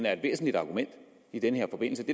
er et væsentligt argument i den her forbindelse